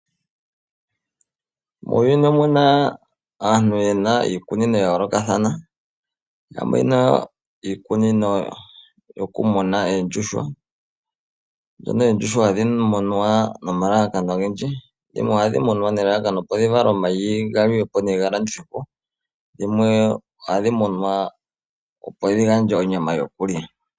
Muuyuni omuna aantu yena iikunino ya yolokathana. Yamwe oyena iikunino yoku muna oondjuhwa. Mono oondjuhwa hadhi munwa noma lalakano ogendji. Dhimwe ohadhi munwa ne lalakano dhi vale oomayi gamwe ga liwepo nenge ga landithwepo. Dhimwe ohadhi munwa opo dhi gandje onyama yokulya.